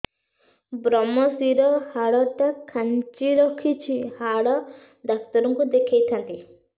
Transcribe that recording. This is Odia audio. ଵ୍ରମଶିର ହାଡ଼ ଟା ଖାନ୍ଚି ରଖିଛି ହାଡ଼ ଡାକ୍ତର କୁ ଦେଖିଥାନ୍ତି